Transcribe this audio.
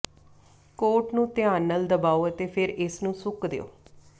ਕੋਟ ਨੂੰ ਧਿਆਨ ਨਾਲ ਦਬਾਓ ਅਤੇ ਫਿਰ ਇਸ ਨੂੰ ਸੁੱਕ ਦਿਓ